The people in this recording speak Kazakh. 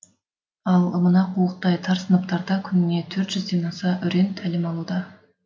ал мына қуықтай тар сыныптарда күніне төрт жүзден аса өрен тәлім алуда